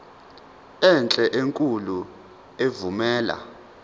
enhle enkulu evumela